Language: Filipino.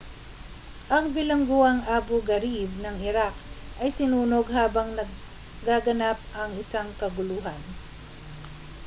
ang bilangguang abu ghraib ng iraq ay sinunog habang nagaganap ang isang kaguluhan